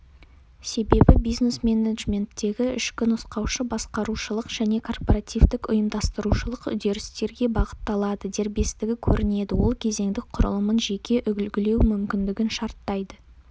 себебі бизнес менеджменттегі ішкі нұсқаушы-басқарушылық және корпоративтік ұйымдастырушылық үдерістерге бағытталады дербестігі көрінеді ол кезеңдік құрылымын жеке үлгілеу мүмкіндігін шарттайды